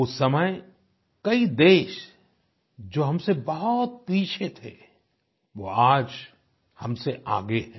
उस समय कई देश जो हमसे बहुत पीछे थे वो आज हमसे आगे हैं